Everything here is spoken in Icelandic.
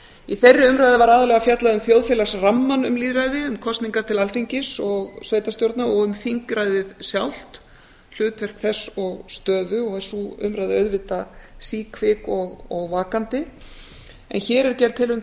í þeirri umræðu var aðallega fjallað um þjóðfélagsrammann um lýðræði um kosningar til alþingis og sveitarstjórna og um þingræðið sjálft hlutverk þess og stöðu og er sú umræða auðvitað síkvik og vakandi en hér er gerð tilraun